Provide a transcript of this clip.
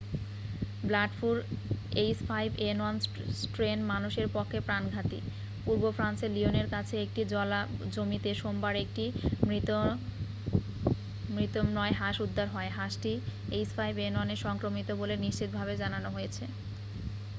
Bird ফ্লুর h5n1 strain মানুষের পক্ষে প্রাণঘাতী। পূর্ব ফ্রান্সের লিওনের কাছে একটি জলাজমিতে সোমবার একটি মৃত বন্য় হাঁস উদ্ধার হয়। হাঁসটি h5n1 এ সংক্রমিত বলে নিশ্চিত ভাবে জানানো হয়েছে।ে